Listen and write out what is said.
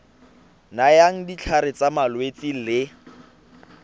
nayang ditlhare tsa malwetse le